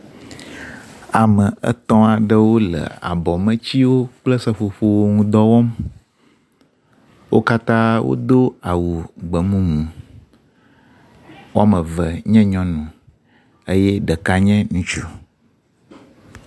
Ame etɔ̃ aɖewo le abɔmetsiwo kple seƒoƒo wo ŋudɔ wɔm. Wo katã wodo awu gbemumu. Wɔme eve nye nyɔnu eye ɖeka nye ŋutsu.